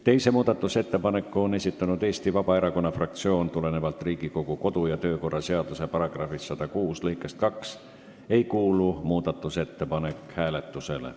Teise muudatusettepaneku on esitanud Eesti Vabaerakonna fraktsioon ning tulenevalt Riigikogu kodu- ja töökorra seaduse § 106 lõikest 2 ei kuulu muudatusettepanek hääletusele.